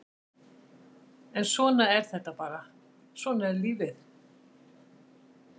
En svona er þetta bara, svona er lífið!